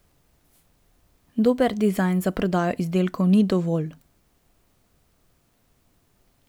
Dober dizajn za prodajo izdelkov ni dovolj.